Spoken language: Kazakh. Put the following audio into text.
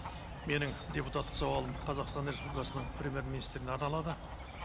менің депутаттық сауалым қазақстан республикасының премьер министріне арналады